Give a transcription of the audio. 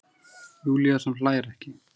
Júlía sem hlær ekki.